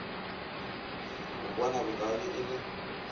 a bona bokaone e le